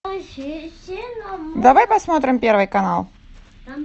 давай посмотрим первый канал